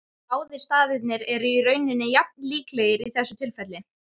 Báðir staðirnir eru í rauninni jafn líklegir í þessu tilfelli.